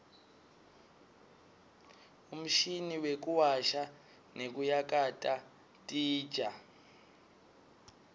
umshini wekuwasha nekuyakata titja